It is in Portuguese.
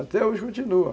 Até hoje continua.